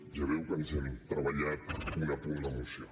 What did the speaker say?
ja veu que ens hem treballat punt a punt la moció